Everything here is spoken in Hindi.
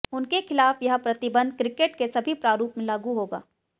उनके खिलाफ यह प्रतिबंध क्रिकेट के सभी प्रारूप में लागू होगा